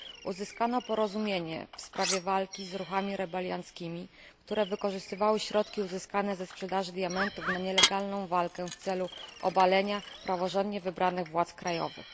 Uzyskano porozumienie w sprawie zwalczanych ruchów rebelianckich, które wykorzystywały środki uzyskane ze sprzedaży diamentów na nielegalną walkę w celu obalenia praworządnie wybranych władz krajowych.